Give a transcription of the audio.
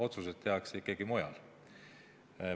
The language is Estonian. Otsuseid tehakse ikkagi mujal.